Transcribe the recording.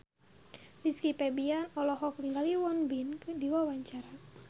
Rizky Febian olohok ningali Won Bin keur diwawancara